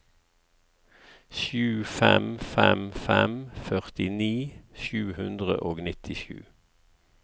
sju fem fem fem førtini sju hundre og nittisju